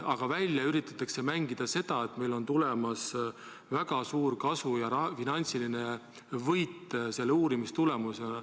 Aga välja üritatakse mängida seda, et meil on tulemas väga suur kasu, finantsiline võit selle uurimise tulemusel.